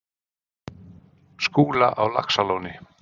Skúla á Laxalóni.